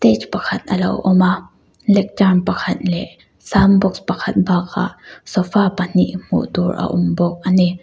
stage pakhat a lo awma lectern pakhat leh sound box pakhat bakah sofa pahnih hmuh tur a awm bawk ani.